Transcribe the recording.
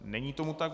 Není tomu tak.